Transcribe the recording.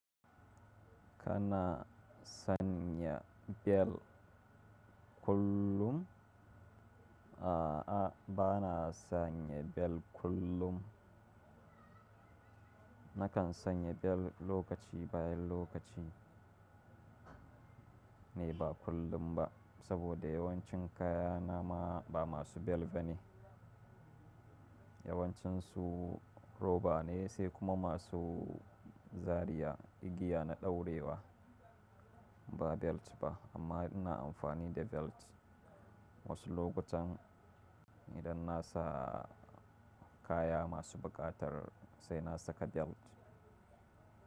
Kana sanya bel kullum? A'a, bana sanya bel kullum. Nakan sanya bel lokaci bayan lokaci, nei ba kullum ba. Saboda yawancin kaya na ma ba masu bel ba ne. Yawancinsu roba ne sai kuma masu zaria, igiya na daurewa, ba belt ba. Amma ina amfani da belt wasu lokutan. Idan na sa kaya masu buƙatar, sai na saka belt.